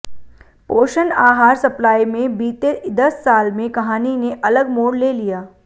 पोषण आहार सप्लाई में बीते दस साल में कहानी ने अलग मोड़ ले लिया